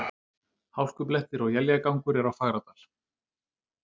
Hálkublettir og éljagangur er á Fagradal